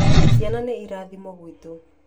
Ciana nĩ irathimo gwitũ